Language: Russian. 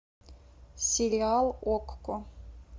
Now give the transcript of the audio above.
сериал окко